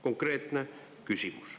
Konkreetne küsimus.